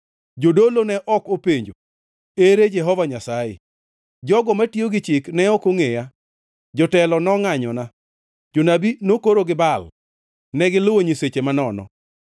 Jodolo ne ok openjo, ‘Ere Jehova Nyasaye?’ Jogo matiyo gi chik ne ok ongʼeya; jotelo nongʼanyona. Jonabi nokoro gi Baal, ka giluwo nyiseche manono.”